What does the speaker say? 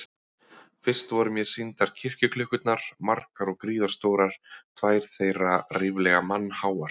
Fyrst voru mér sýndar kirkjuklukkurnar, margar og gríðarstórar, tvær þeirra ríflega mannháar.